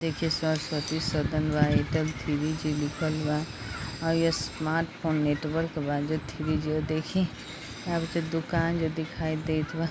देखिये सरस्वती सदन बा Airtel three G लिखल बा और ई स्मार्टफोन नेटवर्क बा जो थ्री जी और देखीं अब तो दुकान जो दिखाई देत बा।